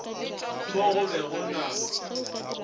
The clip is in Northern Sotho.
mo go be go na